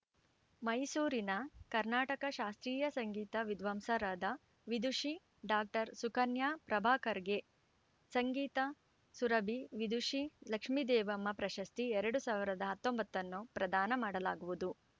ಮೈಸೂರಿನ ಕರ್ನಾಟಕ ಶಾಸ್ತ್ರೀಯ ಸಂಗೀತ ವಿದ್ವಾಂಸರಾದ ವಿದುಷಿ ಡಾಕ್ಟರ್ ಸುಕನ್ಯಾ ಪ್ರಭಾಕರ್‌ಗೆ ಸಂಗೀತ ಸುರಭಿ ವಿದುಷಿ ಲಕ್ಷ್ಮೀದೇವಮ್ಮ ಪ್ರಶಸ್ತಿ ಎರಡು ಸಾವಿರದ ಹತ್ತೊಂಬತ್ತನ್ನು ಪ್ರದಾನ ಮಾಡಲಾಗುವುದು